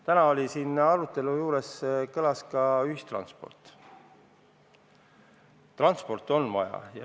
Täna käis arutelult läbi ka ühistranspordi teema.